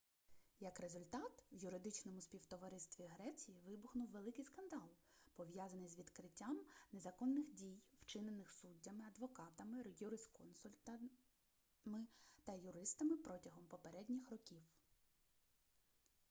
як результат в юридичному співтоваристві греції вибухнув великий скандал пов'язаний з викриттям незаконних дій вчинених суддями адвокатами юрисконсультами та юристами протягом попередніх років